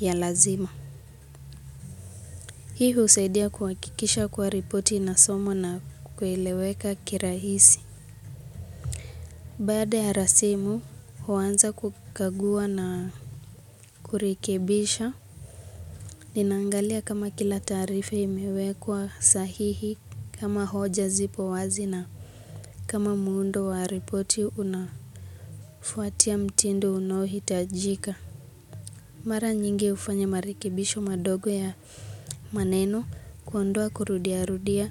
ya lazima. Hii husaidia kuhakikisha kuwa ripoti inasomwa na kuelewekwa kirahisi. Baada ya rasimu, huanza kukagua na kurekebisha. Ninaangalia kama kila taarifa imewekwa sahihi kama hoja zipo wazi na kama muundo wa ripoti unafuatia mtindo unaohitajika. Mara nyingi hufanya marekebisho madogo ya maneno kuondoa kurudiarudia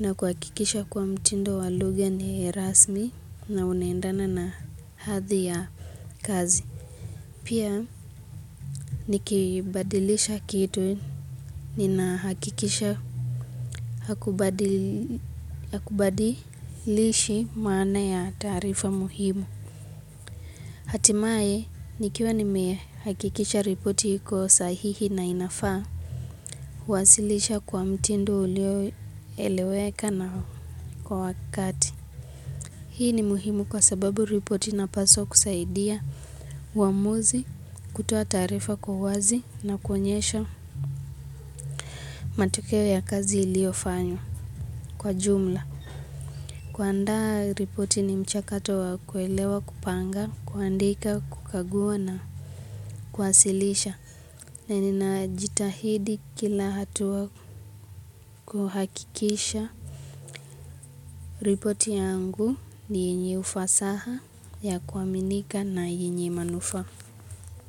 na kuhakikisha kiwa mtindo wa lugha ni rasmi na unaendana na hadhi ya kazi. Pia nikibadilisha kitu ninahakikisha hakubadilishi maana ya taarifa muhimu. Hatimaye nikiwa nimehakikisha ripoti iko sahihi na inafaa huwasilisha kwa mtindo ulioeleweka na kwa wakati. Hii ni muhimu kwa sababu ripoti inapasws kusaidia, uamuzi, kutoa taarifa kwa uazi na kuonyesha matokeo ya kazi iliyofanywa kwa jumla. Kuandaa ripoti ni mchakato wa kuelewa kupanga, kuandika, kukagua na kwasilisha. Na ninajitahidi kila hatua kuhakikisha. Ripoti yangu ni yenye ufasaha ya kuaminika na yenye manufaa.